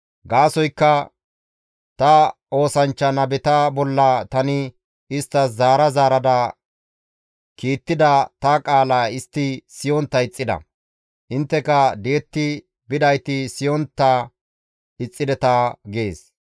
Gaasoykka ta oosanchcha nabeta bolla tani isttas zaara zaarada kiittida ta qaala istti siyontta ixxida. Intteka di7etti bidayti siyontta ixxideta› gees.